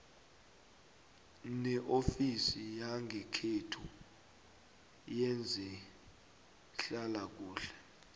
neofisi yangekhenu yezehlalakuhle